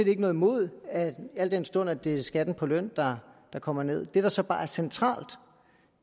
ikke noget imod al den stund det er skatten på løn der kommer nederst det der så bare er centralt